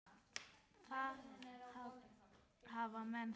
Þá hafa menn það.